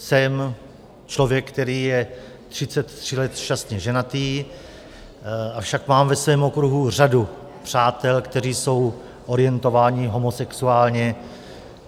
Jsem člověk, který je 33 let šťastně ženatý, avšak mám ve svém okruhu řadu přátel, kteří jsou orientováni homosexuálně.